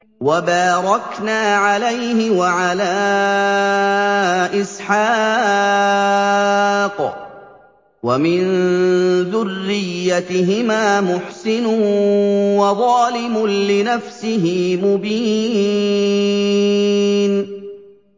وَبَارَكْنَا عَلَيْهِ وَعَلَىٰ إِسْحَاقَ ۚ وَمِن ذُرِّيَّتِهِمَا مُحْسِنٌ وَظَالِمٌ لِّنَفْسِهِ مُبِينٌ